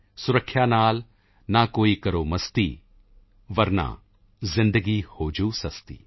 ਸੁਰੱਖਿਆ ਨਾਲ ਨਾ ਕਰੋ ਕੋਈ ਮਸਤੀ ਵਰਨਾ ਜ਼ਿੰਦਗੀ ਹੋ ਜਾਊ ਸਸਤੀ